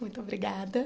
Muito obrigada.